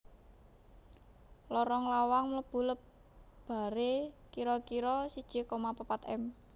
Lorong lawang mlebu lebaré kira kira siji koma papat m